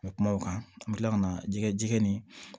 N bɛ kuma o kan an bɛ tila ka na jɛgɛ jɛgɛ ni